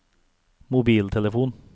mobiltelefon